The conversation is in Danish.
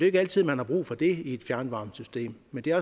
ikke altid man har brug for det i et fjernvarmesystem men det er